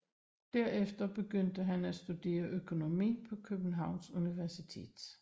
Derefter begyndte han at studere økonomi på Københavns Universitet